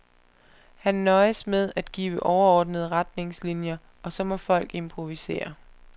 Han nøjes med at give overordnende retningslinier, og så må folk improvisere.